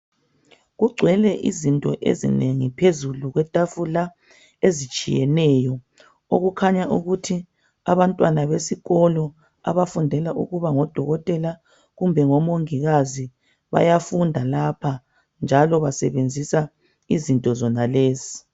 Kugcwele izinto ezinengi phezulu kwetafula ezitshiyeneyo okukhanya ukuthi abantwana besikolo Abafundela ukuba ngodokotela kumbe ngomongikazi bayafunda lapha njalo basebenzisa izinto zonalezi